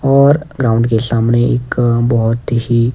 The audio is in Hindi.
और ग्राउंड के सामने एक बहुत ही।